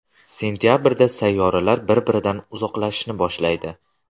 Sentyabrda sayyoralar bir-biridan uzoqlashishni boshlaydi.